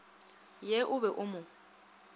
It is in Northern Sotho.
ye o be o mo